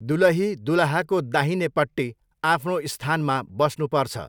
दुलही दुलहाको दाहिनेपट्टि आफ्नो स्थानमा बस्नुपर्छ।